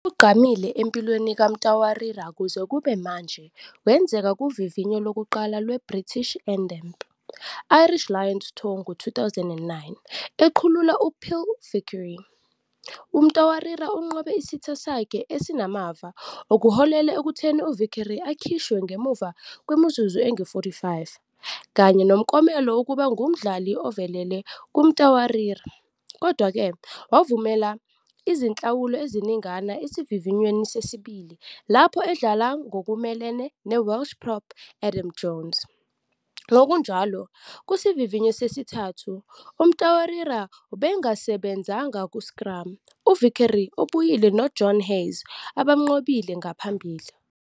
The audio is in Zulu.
Okugqamile empilweni kaMtawarira kuze kube manje kwenzeka kuvivinyo lokuqala lwe- British and Irish Lions tour ngo-2009. Eqhulula uPhil Vickery, uMtawarira unqobe isitha sakhe esinamava, okuholele ekutheni uVickery akhishwe ngemuva kwemizuzu engu-45, kanye nomklomelo wokuba ngumdlali ovelele kuMtawarira. Kodwa-ke, wavumela izinhlawulo eziningana esivivinyweni sesibili lapho edlala ngokumelene ne- Welsh prop Adam Jones. Ngokunjalo, kusivivinyo sesithathu, uMtawarira ubengasebenzanga ku-scrum, uVickery obuyile noJohn Hayes abamnqobile ngaphambili.